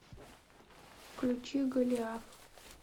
включи голиаф